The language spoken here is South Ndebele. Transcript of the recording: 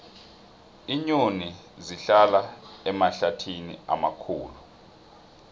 iinyoni zihlala emahlathini amakhulu